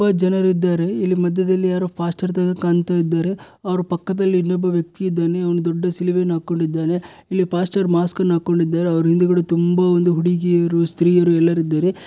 ತುಂಬಾ ಜನರು ಇದ್ದಾರೆ ಇಲ್ಲಿ ಮಧ್ಯದಲ್ಲಿ ಯಾರೊ ಪಾಸ್ಟ್ಆರ್ ತರ ಕಾಣ್ತಾ ಇದ್ದಾರೆ ಅವರ ಪಕ್ಕದಲ್ಲಿ ಇನ್ನೊಬ್ಬ ವ್ಯಕ್ತಿ ಇದ್ದಾನೆ ಅವನು ದೊಡ್ಡ ಶಿಲುಬೆ ಅನ್ನು ಹಾಕೊಂಡಿದ್ದಾನೆ ಇಲ್ಲಿ ಪಾಸ್ಟ್ಆರ್ ಮಾಸ್ಕ್ ಅನ್ನು ಹಾಕೊಂಡಿದ್ದಾರೆ ಅವರ ಹಿಂದಗಡೆ ತುಂಬಾ ಒಂದು ಹುಡುಗಿಯರು ಸ್ತ್ರೀಯರು ಎಲ್ಲಾರು ಇದ್ದಾರೆ.